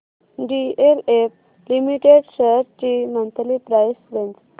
DLF limited shares ची monthly price range